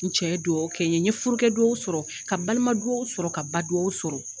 N cɛ ye dugawu kɛ n ye n ye furakɛdugawu sɔrɔ ka balimadugawu sɔrɔ ka badugawu sɔrɔ